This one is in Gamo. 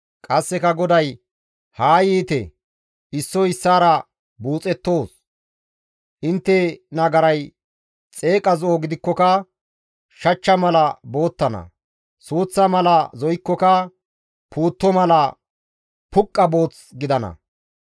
Qasseka GODAY, «Haa yiite issoy issaara ane buuxettoos; intte nagaray xeeqa zo7o gidikkoka shachcha mala boottana; suuththa mala zo7ikkoka puutto mala puqqa booth gidana.